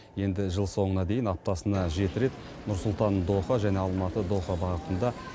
енді жыл соңына дейін аптасына жеті рет нұр сұлтан доха және алматы доха бағытында